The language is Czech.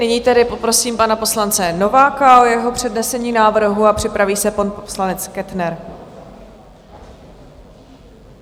Nyní tedy poprosím pana poslance Nováka o jeho přednesení návrhu a připraví se pan poslanec Kettner.